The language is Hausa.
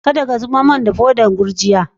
Kadda ka zubar mun da podan gurjiya!